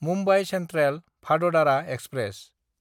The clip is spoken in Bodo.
मुम्बाइ सेन्ट्रेल–भाददारा एक्सप्रेस